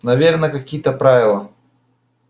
наверное какие-то правила